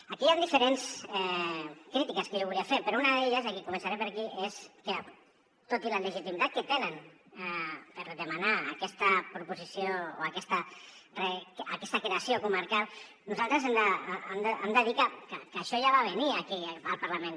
aquí hi han diferents crítiques que jo volia fer però una d’elles i començaré per aquí és que tot i la legitimitat que tenen per demanar aquesta proposició o aquesta creació comarcal nosaltres hem de dir que això ja va venir aquí al parlament